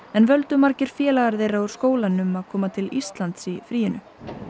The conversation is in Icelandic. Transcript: en völdu margir félagar þeirra úr skólanum að koma til Íslands í fríinu